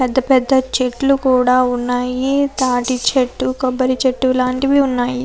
పెద్ద పెద్ద చెట్లు కూడా ఉన్నాయి తాటి చెట్టు కొబ్బరి చెట్టు లాంటివి ఉన్నాయి.